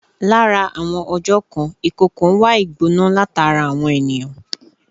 Lára àwọn ọjọ̀ kan, ìkookò ń wá ìgbona látara àwọn ènìyàn